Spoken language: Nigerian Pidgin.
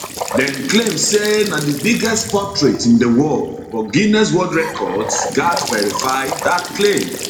dem claim say na di biggest portrait in di world but guiness world records gatz verify dat claim